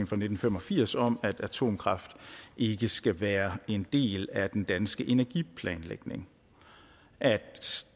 fra nitten fem og firs om at atomkraft ikke skal være en del af den danske energiplanlægning at